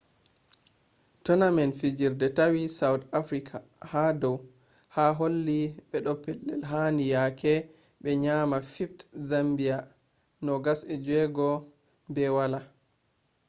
tournament fijirde tawi south africa ha dau ha holi ɓe ɗo pellel handi yake ɓe nyami 5th zambia 26-00